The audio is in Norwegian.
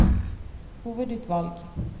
hovedutvalg